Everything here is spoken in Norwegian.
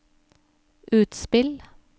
utspill